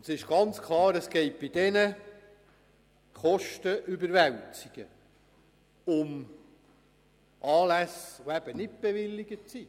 Es geht bei diesen Kostenüberwälzungen um Anlässe, die eben nicht bewilligt sind.